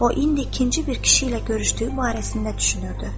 O indi ikinci bir kişi ilə görüşdüyü barəsində düşünürdü.